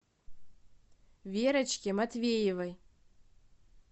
верочке матвеевой